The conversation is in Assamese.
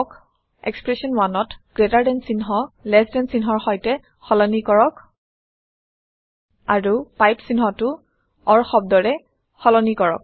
এক্সপ্ৰেচন 1 gtচিহ্ন ltচিহ্নৰ সৈতে সলনি কৰক আৰু পাইপ চিহ্নটো অৰ শব্দৰে সলনি কৰক